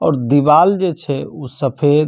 और दीवाल जे छै उ सफेद --